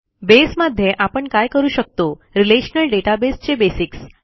बसे मध्ये आपण काय करू शकतो रिलेशनल डेटाबेस चे बेसिक्स